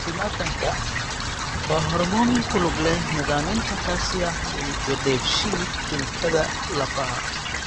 Calcitonin-ka waa hoormoon ku lug leh nidaaminta calcium iyo dheef-shiid kiimikaadka lafaha.